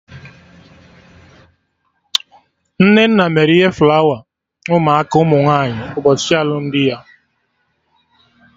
Nnenna mere ihe flawa ụmụ aka ụmụ nwaanyị ụbọchị alụmdi ya